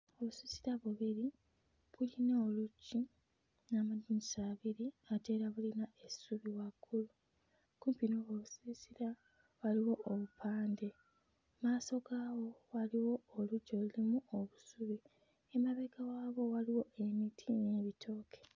Obusiisira bubiri buyina oluggi n'amadinisa abiri ate nga bulina essubi waggulu. Ku buno obusiisira waliwo obupande. Mmaaso gaabwo waliwo oluggya olulimu obusubi. Emabega waabwo waliwo emiti n'ebitooke.